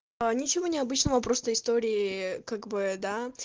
а ничего необычного просто истории как бы да